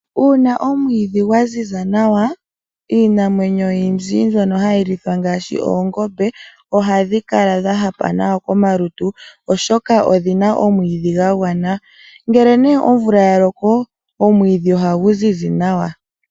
Uuna omwiidhi gwa ziza nawa, iinamwenyo oyindji mbyono hayi lithwa ngaashi oongombe ohadhi kala dha hapa nawa komalutu oshoka odhi na omwiidhi gwa gwana. Ngele nee omvula ya loko omwiidhi ohagu zizi nawa.